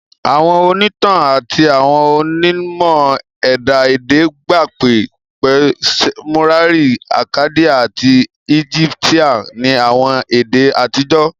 Àwọn ònítàn àti àwọn onímọ̀ ẹ̀dá èdè gba pé pé Seumerian, Akkadian ati Egyptian ni àwọn èdè àtijọ́